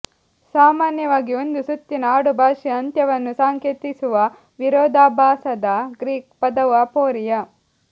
ಸಾಮಾನ್ಯವಾಗಿ ಒಂದು ಸುತ್ತಿನ ಆಡುಭಾಷೆಯ ಅಂತ್ಯವನ್ನು ಸಂಕೇತಿಸುವ ವಿರೋಧಾಭಾಸದ ಗ್ರೀಕ್ ಪದವು ಅಪೊರಿಯಾ